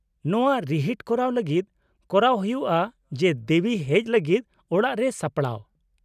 -ᱱᱚᱶᱟ ᱨᱤᱦᱤᱴ ᱠᱚᱨᱟᱣ ᱞᱟᱹᱜᱤᱫ ᱠᱚᱨᱟᱣ ᱦᱩᱭᱩᱜᱼᱟ ᱡᱮ ᱫᱮᱵᱤ ᱦᱮᱡ ᱞᱟᱹᱜᱤᱫ ᱚᱲᱟᱜ ᱨᱮ ᱥᱟᱯᱲᱟᱣ ᱾